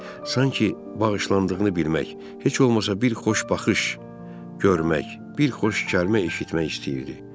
Hinçer sanki bağışlandığını bilmək, heç olmasa bir xoş baxış görmək, bir xoş kəlmə eşitmək istəyirdi.